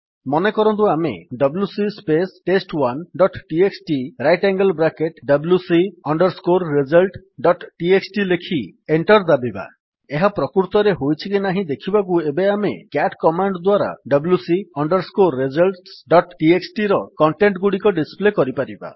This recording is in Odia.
ମନେକରନ୍ତୁ ଆମେ WC space test one dot TXT right angle bracket wc results dot TXT ଲେଖି enter ଦାବିବା ଏହା ପ୍ରକୃତରେ ହୋଇଛି କି ନାହିଁ ଦେଖିବାକୁ ଏବେ ଆମେ c a ଟି କମାଣ୍ଡ୍ ଦ୍ୱାରା wc results ଡଟ୍ txtର କଣ୍ଟେଣ୍ଟ୍ ଗୁଡିକ ଡିସ୍ପ୍ଲେ କରିପାରିବା